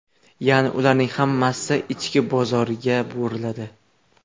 Ya’ni ularning hammasi ichki bozorga buriladi.